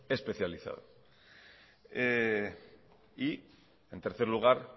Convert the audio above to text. especializado y en tercer lugar